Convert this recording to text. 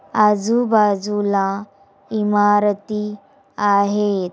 आजू बाजू ला इमारती आाहे।